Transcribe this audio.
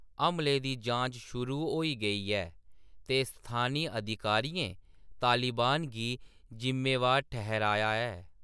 हमले दी जांच शुरू होई गेई ऐ ते स्थानी अधिकारियें तालिबान गी जिम्मेवार ठर्‌हाया ऐ।